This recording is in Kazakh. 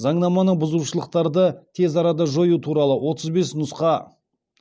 заңнаманы бұзушылықтарды тез арада жою туралы отыз бес нұсқа